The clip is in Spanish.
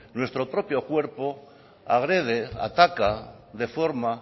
nuestro propio cuerpo agrede ataca deforma